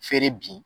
Feere bi